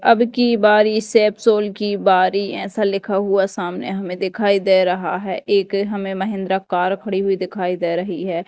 अब की बारी सैप सोल की बारी ऐसा लिखा हुआ सामने हमे दिखाई दे रहा है एक हमे महिंद्रा कार खड़ी हुई दिखाई दे रही है।